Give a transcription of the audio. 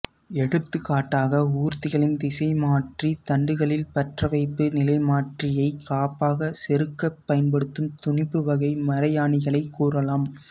எடுத்துகாட்டாக ஊர்திகளின் திசைமாற்றித் தண்டுகளில் பற்றவைப்பு நிலைமாற்றியைக் காப்பாகச் செருகப் பயன்படும் துணிப்புவகை மரையாணிகளைக் கூறலாம்